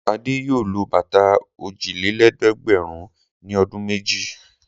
Adé yóò lo bàtà òjìlélẹ́ẹ̀dẹ́gbẹ̀rún ní ọdún méjì.